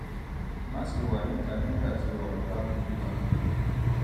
má ṣe wà níta nígbà tí oòrùn bá ń mú gan-an